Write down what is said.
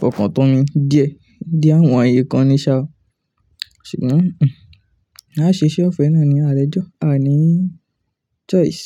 fọkàn tó mi díẹ̀. Díẹ̀ wonyii kan ni sa oo. Ṣùgbọ́n aa ṣe iṣẹ́ ọ̀fẹ́ náà ní àlejò, aa ní choice.